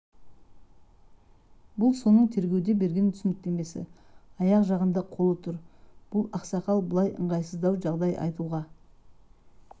бұл соның тергеуде берген түсініктемесі аяқ жағында қолы тұр бұл ақсақал былай ыңғайсыздау жағдай айтуға